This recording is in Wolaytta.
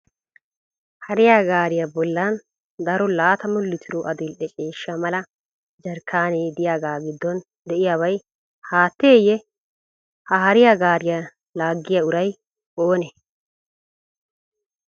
Hariya gaariya bollan daro 20 litiro adil'e ciishsha mala jarkkaanee diyagaa giddon diyaabay haatteyye? Ha hariya gaariya laaggiyaa uray oonee?